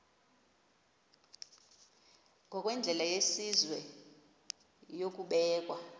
ngokwendlela yesizwe yokubeka